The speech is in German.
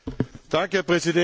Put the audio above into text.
Herr Präsident!